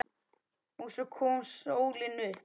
OG SVO KOM SÓLIN UPP.